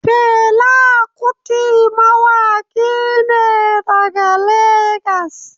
Fela Kuti mawaki ne daga Legas.